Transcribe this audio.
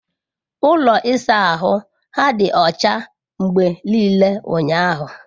Ụlọ ịsa ahụ ha dị ọcha mgbe niile ụnyahụ.